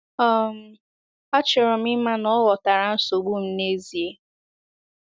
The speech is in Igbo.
um “ Achọrọ m ịma na ọ ghọtara nsogbu m n’ezie.